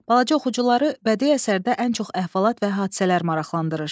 Balaca oxucuları bədii əsərdə ən çox əhvalat və hadisələr maraqlandırır.